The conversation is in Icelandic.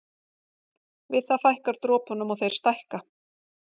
Við það fækkar dropunum og þeir stækka.